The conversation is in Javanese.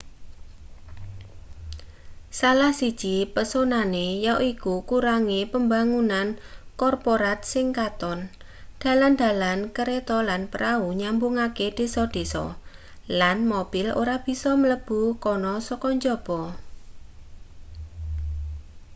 salah siji pesonane yaiku kurange pembangunan korporat sing katon dalan-dalan kereta lan prau nyambungake desa-desa lan mobil ora bisa mlebu kana saka njaba